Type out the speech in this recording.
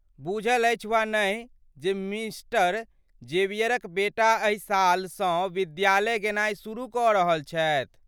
बुझल अछि वा नहि जे मिस्टर जेवियरक बेटा एहि सालसँ विद्यालय गेनाइ शुरु कऽ रहल छथि?